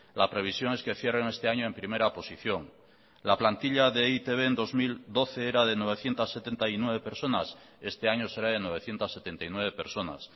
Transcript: la previsión es que cierren este año en primera posición la plantilla de e i te be en dos mil doce era de novecientos setenta y nueve personas este año será de novecientos setenta y nueve personas